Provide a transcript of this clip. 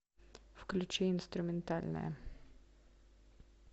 включи инструментальная